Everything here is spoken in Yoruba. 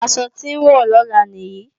Aṣọ tí n wọ̀ lọ́la nìyí